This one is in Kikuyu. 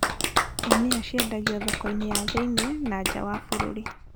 Ndania ciendagio thoko-inĩ ya thĩiniĩ na nja wa bũrũri